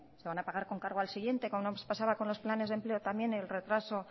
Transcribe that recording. se van a pagar con cargo al siguiente como nos pasaba con los planes de empleo también el retraso